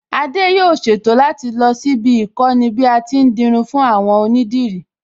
Adé yóò ṣètò láti lọ síbi íkọ́ni bí a ti ń dirun fún àwọn onídìrí